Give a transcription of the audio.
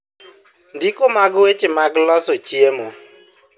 Ndiko mag weche mag loso chiemo